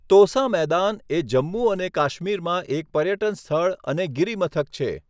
તોસા મેદાન એ જમ્મુ અને કાશ્મીરમાં એક પર્યટન સ્થળ અને ગિરિમથક છે.